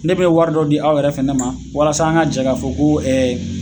Ne bɛ wari dɔ di aw yɛrɛ fɛnɛ ma, walasa an ka jɛ ka fo ko